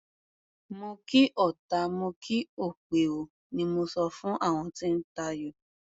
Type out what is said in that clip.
Mo kí ọta, mo kí òpè o, ni mo sọ fún àwọn tí ń tayò.